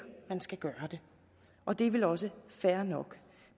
man skal gøre det og det er vel også fair nok